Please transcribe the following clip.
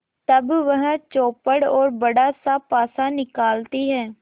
तब वह चौपड़ और बड़ासा पासा निकालती है